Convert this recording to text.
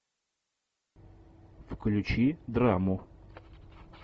включи драму